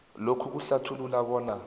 lokhu kuhlathulula bona